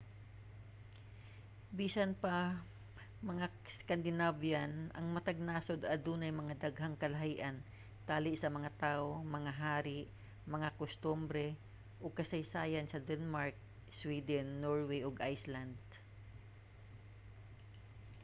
bisan pa nga 'scandinavian' ang matag nasod adunay mga daghang kalahian tali sa mga tawo mga hari mga kustombre ug kasaysayan sa denmark sweden norway ug iceland